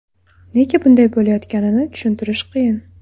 Nega bunday bo‘layotganini tushuntirish qiyin.